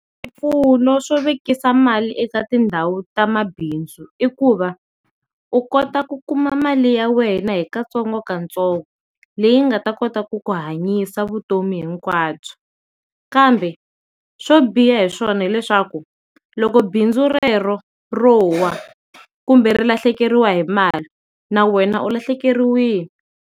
Mpfuno swo vekisa mali eka tindhawu ta mabindzu i ku va u kota ku kuma mali ya wena hi katsongokatsongo leyi nga ta kota ku ku hanyisa vutomi hinkwabyo, kambe swo biha hi swona hileswaku loko bindzu rero rowa kumbe ri lahlekeriwa hi mali na wena u lahlekeriwile.